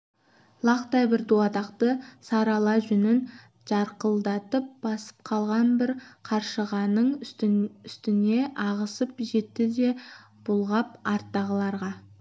лақтай бір дуадақты сары ала жүнін жарқылдатып басып қалған бір қаршығаның үстіне ағызып жетті де бұлғап арттағыларға